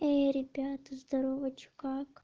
эй ребята здорово что как